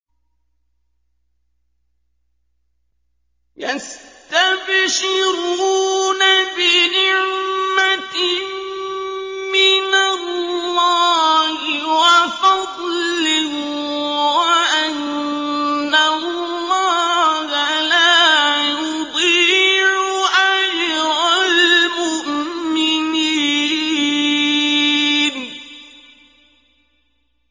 ۞ يَسْتَبْشِرُونَ بِنِعْمَةٍ مِّنَ اللَّهِ وَفَضْلٍ وَأَنَّ اللَّهَ لَا يُضِيعُ أَجْرَ الْمُؤْمِنِينَ